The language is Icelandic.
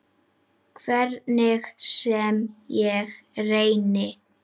Hvernig sem ég reyni.